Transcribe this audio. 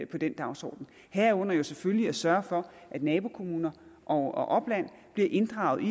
på den dagsorden herunder selvfølgelig at sørge for at nabokommuner og opland bliver inddraget i